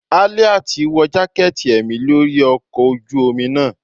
Aliat wọ jaketí emí lori ọkọ ojú omí naa